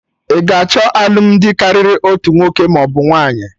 Ị ga achọ alụmdi karịrị otu nwoke maọbụ nwaanyị?